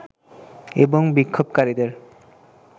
এবং বিক্ষোভকারীদের